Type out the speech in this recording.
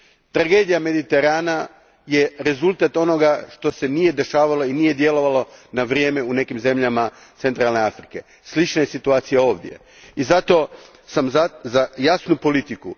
Tragedija Mediterana je rezultat onoga što se nije dešavalo i nije djelovalo na vrijeme u nekim zemljama centralne Afrike. Slična je situacija ovdje i zato sam za jasnu politiku.